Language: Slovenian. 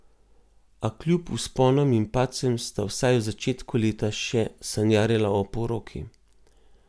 A kljub vzponom in padcem sta vsaj v začetku leta še sanjarila o poroki.